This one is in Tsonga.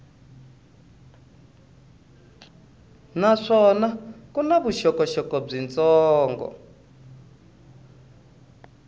naswona ku na vuxokoxoko byitsongo